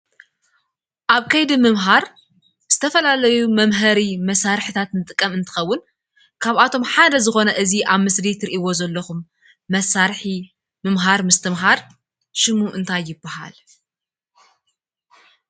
ኣብ ከይዲ ምምሃር ዝተፈላለዩ መምሃሪ መሳረሕታት ንጥቀም እንትኸውን ካብኣቶም ሓደ ዝኾነ እዙይ ኣብ ምስሊ እትርእይዎ ዘለኹም መሳርሒ ምምሃር ምስትምሃር ሽሙ እንታይ ይባሃል?